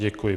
Děkuji.